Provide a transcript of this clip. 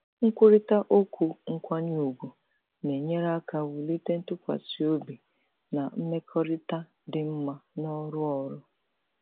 nkwurịta okwu nkwanye ùgwù na-enyere aka wulite ntụkwasị obi na mmekọrịta dị mma n'ọrụ ọrụ.